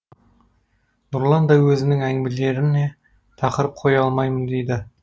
нұрлан да өзінің әңгімелеріне тақырып қоя алмаймын дейді